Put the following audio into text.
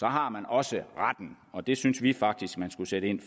har man også retten og det synes vi faktisk man skulle sætte ind